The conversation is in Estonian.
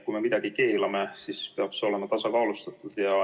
Kui me midagi keelame, siis peaks see olema tasakaalustatud.